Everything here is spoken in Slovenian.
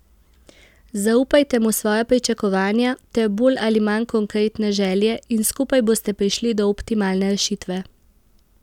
Zaupajte mu svoja pričakovanja ter bolj ali manj konkretne želje in skupaj boste prišli do optimalne rešitve.